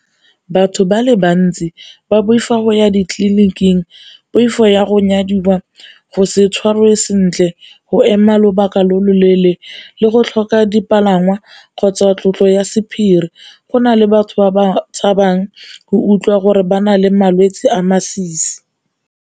Batho ba le bantsi ba boifa go ya ditleliniking, poifo ya go nyadiwa, go se tshwarwe sentle, go ema lobaka lo loleele le go tlhoka dipalangwa kgotsa tlotlo ya sephiri. Go na le batho ba ba tshabang go utlwa gore ba na le malwetse a a masisi.